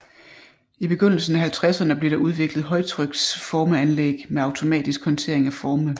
I begyndelsen af halvtredserne blev der udviklet højtryks formeanlæg med automatisk håndtering af forme